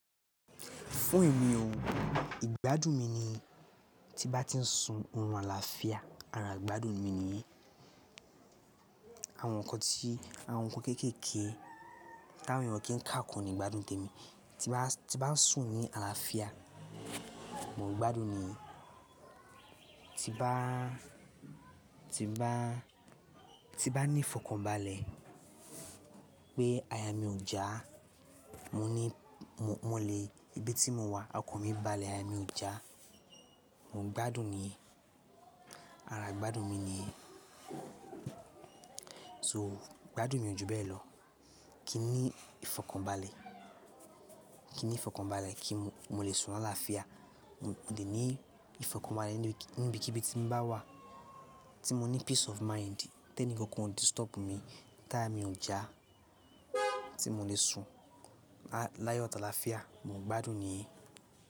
Fún èmi ò, ìgbádùn mi ni tí n bá ti ń sùn orun àlàáfíà, ara ìgbádùn mi nìyẹn. Àwọn nǹkan tí àwọn nǹkan kéékèèké táwọn èèyàn kí ń kákún ni ìgbádùn tèmi. Tí bá ń sùn ní àlàáfíà, mò ń gbádùn ni. Tí n bá ní ìfọ̀kànbalẹ̀ pé àyà mi ò já, mo ní mo lè, ibi tí mo wà, ọkàn mi balẹ̀, aya mi ò já, mò ń gbádùn ni. Ara ìgbádùn mi nìyẹn. So, ìgbádùn mi ò jù bẹ́ẹ̀ lọ. Kin ní ìfọ̀kànbalẹ̀ Kin ní ìfọ̀kànbalẹ̀ kí n mo lè sùn láàáfíà Mo lè ní ìfọ̀kànbalẹ̀ níbi kíbí tí mo bá wà tí mo ní peace of mind, ténì kankan ò disturb mi, táyà mi ò já, tí mo lè sùn láyọ̀ àtàlàáfíàà, mò ń gbádùn nìyẹn.